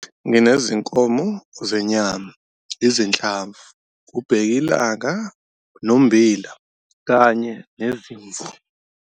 Nginezinkomo zenyama, izinhlamvu, ubhekilanga nommbila, kanye nezimvu.